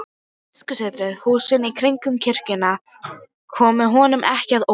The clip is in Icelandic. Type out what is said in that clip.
Biskupssetrið, húsin í kringum kirkjuna, komu honum ekki á óvart.